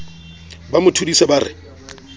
ba mo thodise ba re